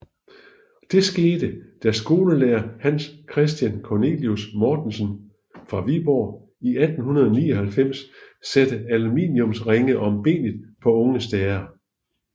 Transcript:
Det skete da skolelærer Hans Christian Cornelius Mortensen fra Viborg i 1899 satte aluminiumsringe om benet på unge stære